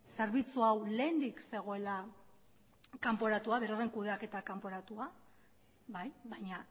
zerbitzu hau lehendik zegoela kanporatua beroren kudeaketa kanporatua bai baina